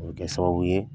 O bɛ kɛ sababu ye